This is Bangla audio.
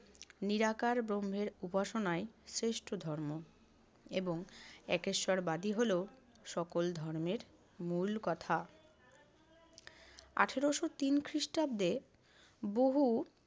নিরাকার ব্রহ্মের উপাসনাই শ্রেষ্ঠ ধর্ম এবং একেশ্বরবাদই হলো সকল ধর্মের মূল কথা। আঠারশো তিন খ্রিষ্টাব্দে বহু